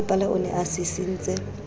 mmasepala o ne a sisintse